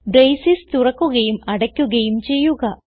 braces തുറക്കുകയും അടയ്ക്കുകയും ചെയ്യുക